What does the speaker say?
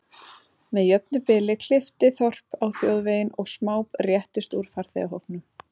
Með jöfnu bili klippti þorp á þjóðveginn og smá reyttist úr farþegahópnum.